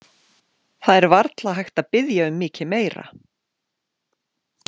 Það er varla hægt að biðja um mikið meira.